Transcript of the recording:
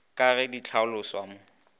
ka ge di hlaloswa mo